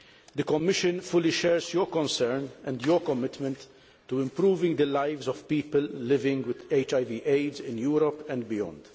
The Commission fully shares your concern and your commitment to improving the lives of people living with HIV AIDS in Europe and beyond.